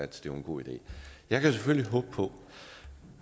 det var en god idé jeg kan selvfølgelig håbe på